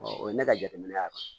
o ye ne ka jateminɛ ye